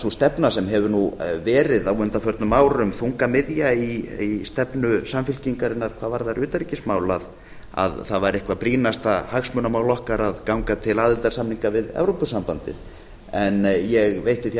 sú stefna sem hefur nú verið á undanförnum árum þungamiðja í stefnu samfylkingarinnar hvað varðar utanríkismál að það væri eitthvað brýnasta hagsmunamál okkar að ganga til aðildarsamninga við evrópusambandið en ég veitti því